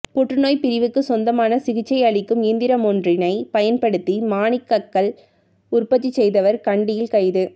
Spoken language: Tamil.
புற்றுநோய் பிரிவுக்குச் சொந்தமான சிகிச்சையளிக்கும் இயந்திரமொன்றினைப் பயன்படுத்தி மாணிக்கக்கல் உற்பத்தி செய்தவர் கண்டியில் கைது